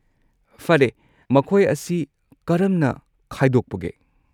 ꯐꯔꯦ, ꯃꯈꯣꯏ ꯑꯁꯤ ꯀꯔꯝꯅ ꯈꯥꯏꯗꯣꯛꯄꯒꯦ?